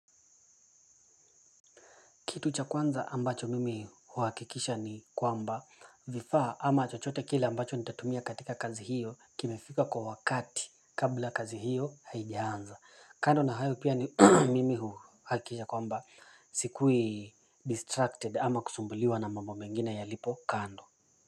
Kitu cha kwanza ambacho mimi huhakikisha ni kwamba vifaa ama chochote kile ambacho nitatumia katika kazi hiyo kimefika kwa wakati kabla kazi hiyo haijaanza kando na hayo pia ni mimi huhakikisha kwamba sikui distracted ama kusumbuliwa na mambo mengine yalipo kando.